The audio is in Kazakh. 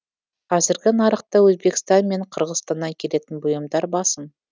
қазіргі нарықта өзбекстан мен қырғызстаннан келетін бұйымдар басым